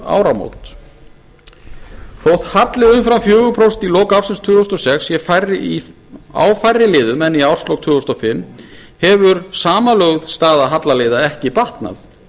áramót þótt halli umfram fjögur prósent í lok ársins tvö þúsund og sex sé á færri liðum en í árslok tvö þúsund og fimm hefur samanlögð staða hallaliða ekki batnað